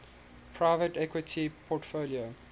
private equity portfolio